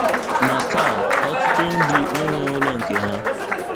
Ma taa, ọtụtụ ndị enweghị ụlọ nke ha.